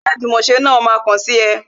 Ẹgbẹ́ ajumose náà ma kàn sí ẹ